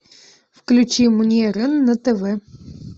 включи мне рен на тв